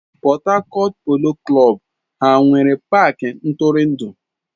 ⁰Port Harcourt Polo klọb ha nwere paaki ntụrụndụ?